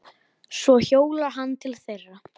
Svo hjólar hann til þeirra.